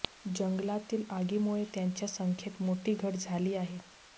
जंगलातील आगीमुळे त्यांच्या संख्येत मोठी घट झाली आहे